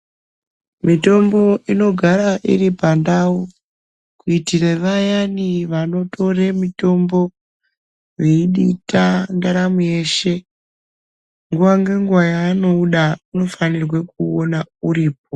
Mitombo inogare iri pandau kuitire vayani vanotore mutombo veidita ndaramo yeshe, nguwa ngenguwa yaanouda unofana kuwona uripo.